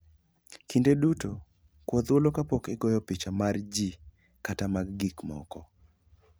Kinde duto, kwa thuolo kapok igoyo picha mar ji kata mar gik moko.